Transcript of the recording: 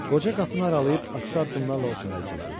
Qoca qapını aralayıb asta addımlarla otağa girdi.